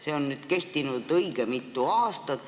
See on nüüd kehtinud õige mitu aastat.